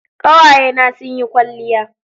kawaye na sun yi kwalliya